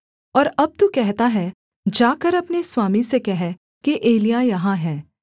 और अब तू कहता है जाकर अपने स्वामी से कह कि एलिय्याह यहाँ है